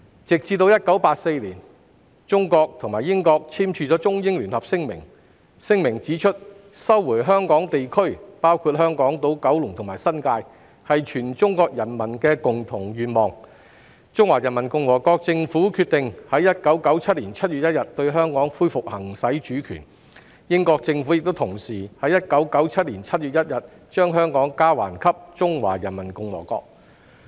直至1984年，中國和英國簽署《中英聯合聲明》，指出："收回香港地區是全中國人民的共同願望，中華人民共和國政府決定於1997年7月1日對香港恢復行使主權......聯合王國政府於1997年7月1日將香港交還給中華人民共和國"。